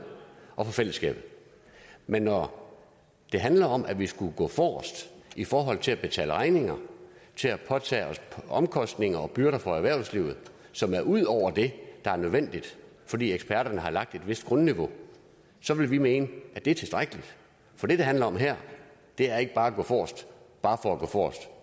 og for fællesskabet men når det handler om at vi skulle gå forrest i forhold til at betale regninger til at påtage os omkostninger og byrder for erhvervslivet som er ud over det der er nødvendigt fordi eksperterne har lagt et vist grundniveau så vil vi mene at det er tilstrækkeligt for det det handler om her er ikke at gå forrest bare for at gå forrest